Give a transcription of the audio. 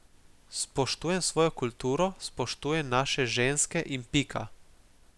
Spoštujem svojo kulturo, spoštujem naše ženske in pika.